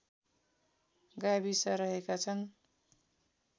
गाविस रहेका छन्